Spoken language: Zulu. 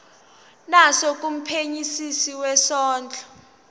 naso kumphenyisisi wezondlo